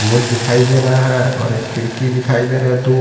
Board दिखाई दे रहा है और एक खिड़की दिखाई दे रहा है दो।